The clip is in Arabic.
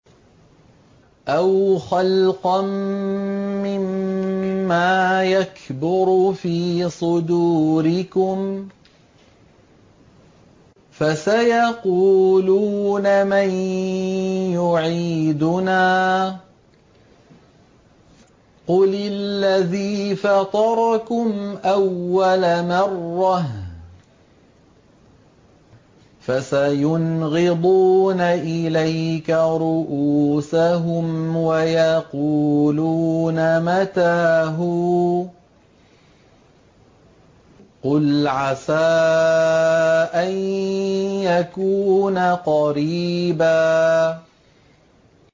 أَوْ خَلْقًا مِّمَّا يَكْبُرُ فِي صُدُورِكُمْ ۚ فَسَيَقُولُونَ مَن يُعِيدُنَا ۖ قُلِ الَّذِي فَطَرَكُمْ أَوَّلَ مَرَّةٍ ۚ فَسَيُنْغِضُونَ إِلَيْكَ رُءُوسَهُمْ وَيَقُولُونَ مَتَىٰ هُوَ ۖ قُلْ عَسَىٰ أَن يَكُونَ قَرِيبًا